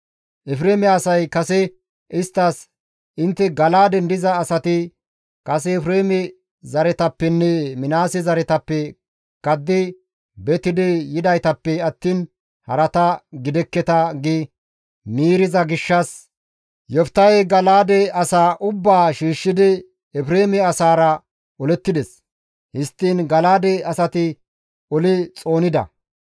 Efreeme asay kase isttas, «Intte Gala7aaden diza asati kase Efreeme zaretappenne Minaase zaretappe kaddi betidi yidaytappe attiin harata gidekketa» gi miiriza gishshas Yoftahey Gala7aade asaa ubbaa shiishshidi Efreeme asaara olettides; histtiin Gala7aade asati oli xoonida.